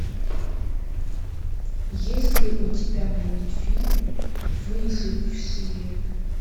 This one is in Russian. есть ли у тебя мультфильм выжившие